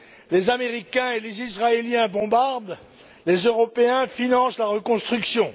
Les Américains et les Israéliens bombardent, les Européens financent la reconstruction.